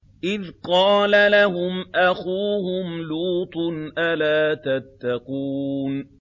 إِذْ قَالَ لَهُمْ أَخُوهُمْ لُوطٌ أَلَا تَتَّقُونَ